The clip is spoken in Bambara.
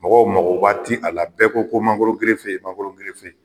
Mɔgɔw magoba ti a la bɛɛ ko ko mangora mangoro